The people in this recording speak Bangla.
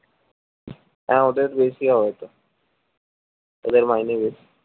হ্যাঁ ওদের বেশি হবে তো ওদের মাইনে বেশি